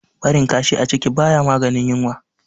Barin kashi a ciki ba ya maganin yunwa.